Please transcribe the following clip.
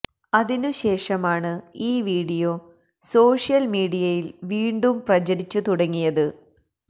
അതിനു ശേഷമാണ് ഈ വീഡിയോ സോഷ്യല് മീഡിയയില് വീണ്ടും പ്രചരിച്ചു തുടങ്ങിയത്